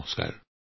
নমস্কাৰ